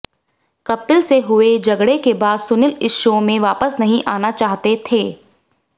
कपिल से हुए झगड़े के बाद सुनील इस शो में वापस नहीं आना चाहते थे